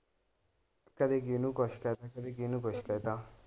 ਕਦੇ ਕਿਹਨੂੰ ਕੁਛ ਕਹਿ ਤਾ ਕਦੇ ਕਿਹਨੂੰ ਕੁਛ ਕਹਿ ਤਾ।